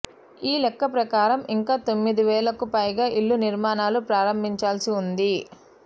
ఈ లెక్క ప్రకారం ఇంకా తొమ్మిదివేలకు పైగా ఇళ్ల నిర్మాణాలు ప్రారంభించాల్సి ఉంది